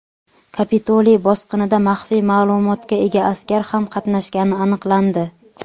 Kapitoliy bosqinida maxfiy ma’lumotga ega askar ham qatnashgani aniqlandi.